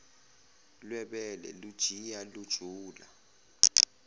lwebele lujiya lujula